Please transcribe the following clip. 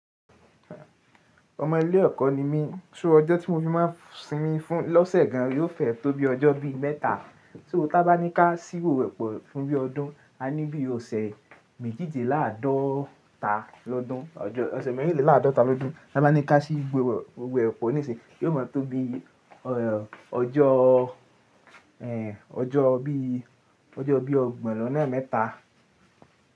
Ọmọ ilé ẹ̀kọ́ ni mí, so ọjọ́ tí mo fi máa ń sinmi fún lọ́sẹ̀ gan an yóò fẹ́ tó bí ọjọ́ bí mẹ́ta. Só tá bá ní ká síwò epo fún bí ọdún, a ní bí ọsẹ̀ méjìdínláàádọ́ta lọ́dún. Ọ̀sẹ̀ méjìdínláàádọ́ta lọ́dún. Tá bá ní ká sí gbé òwò epo nísìnyí yóò mọ́ tó bí ọjọ́, ẹh, ọjọ́ bí ọgbọ̀n lọ́nà mẹ́ta.